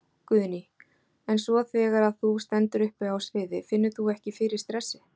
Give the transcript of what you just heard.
Guðný: En svo þegar að þú stendur uppi á sviði, finnur þú ekki fyrir stressi?